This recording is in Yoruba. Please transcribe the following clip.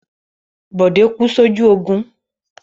Bódé kú sójú ogun.